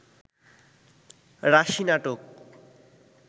রাশি নাটক